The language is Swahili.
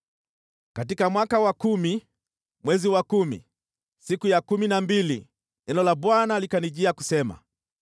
Katika mwaka wa kumi, mwezi wa kumi, siku ya kumi na mbili, neno la Bwana likanijia kusema: